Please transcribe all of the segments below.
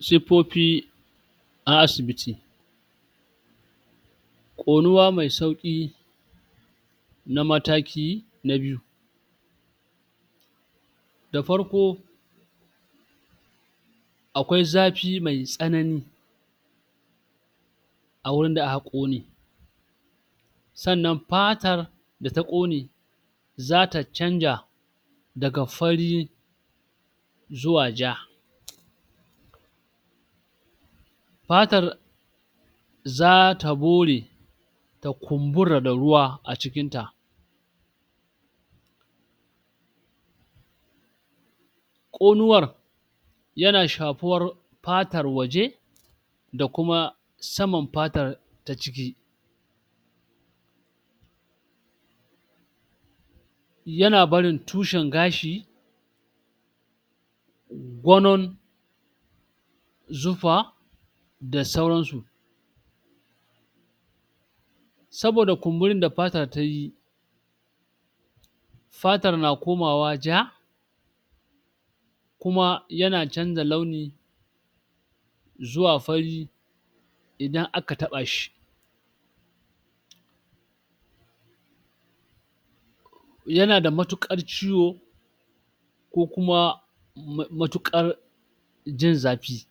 Siffofi a asibiti ƙonuwa mai sauƙi na mataki na biyu. Da farko akwai zafi mai tsanani a wurin da an ƙone. Sannan fatar da ta ƙone za ta canja daga fari zuwa ja. Fatar za ta bore ta kumbura da ruwa a cikin ta. Ƙonuwar ya na shafar fatar waje da kuma saman fatar ta ciki. Ya na barin tushen gashi gonon zufa da sauran su. Saboda kumburin da fata tayi, fatar na komawa ja kuma ya na canja launi zuwa fari idan aka taɓa shi. ya na da matuƙar ciwo ko kuma ma matuƙar jin zafi.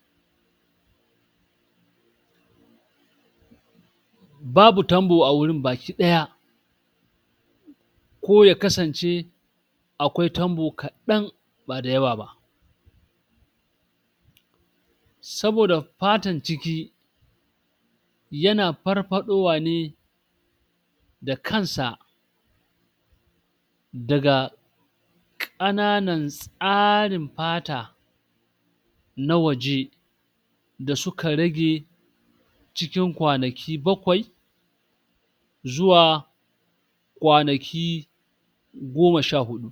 Babu tambo a wurin baki ɗaya ko ya kasance akwai tambo kaɗan ba da yawa ba. Saboda fatan ciki ya na farfaɗowa ne da kansa daga ƙananan tsarin fata na waje da suka rage cikin kwanaki bakwai zuwa kwanaki goma sha huɗu